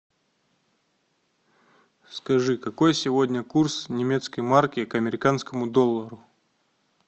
скажи какой сегодня курс немецкой марки к американскому доллару